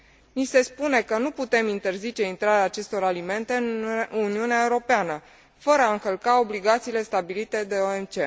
Ni se spune că nu putem interzice intrarea acestor alimente în Uniunea Europeană, fără a încălca obligațiile stabilite de OMC.